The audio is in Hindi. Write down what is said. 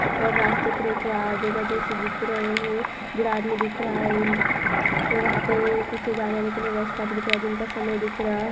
और रास्ते पर एक अजो अजीब से दिखरे हैं बूढ़ा आदमी दिख रहा है उन वहाँ पे कुछ जाने आने का रास्ता भी दिख रहा है दिन का समय दिख रहा है।